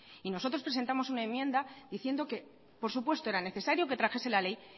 y nosotros presentamos una enmienda diciendo que por supuesto era necesario que trajese la ley